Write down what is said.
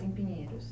Em Pinheiros.